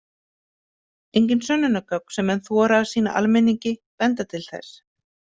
Engin sönnunargögn sem menn þora að sýna almenningi benda til þess.